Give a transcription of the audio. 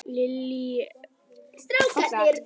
Lillý: Þetta hljómar svolítið flókið, er þetta mikið mál?